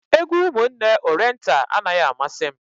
Egwu Ụmụnne Orenta anaghị amasị m.